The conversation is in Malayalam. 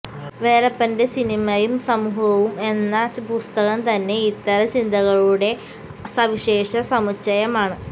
വേലപ്പന്റെ സിനിമയും സമൂഹവും എന്ന പുസ്തകം തന്നെ ഇത്തരം ചിന്തകളുടെ സവിശേഷ സമുച്ചയമാണ്